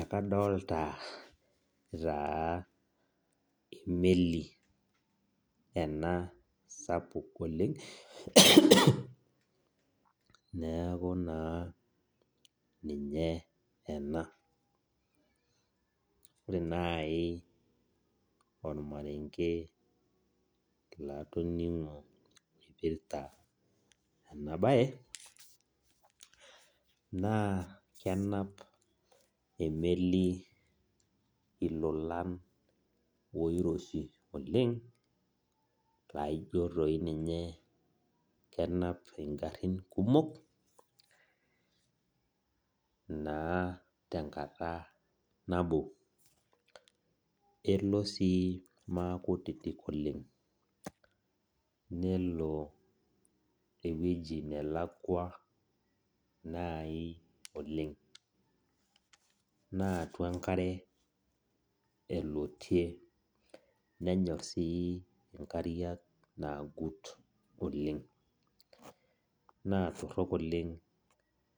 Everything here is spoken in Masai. Ekadolta taa emeli sapuk oleng neaku na ninye ena ore naibormarenke latoningo naipirta enabae na kenap emeli ilolan oiroshi oleng laijo tiinye kenap ngarin kumok naa tenkata nabo elo sii makutiti oleng nelo ewueji nalakwa nai oleng na atua enkare elotie nenyor si enkare naagut oleng na torok oleng